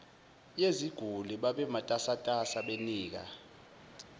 yeziguli babematasatasa benika